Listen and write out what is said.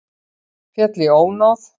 Féll í ónáð